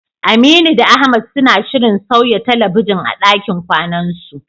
Aminu da Ahmad suna shirin sauya talabijin a ɗakin kwanansu.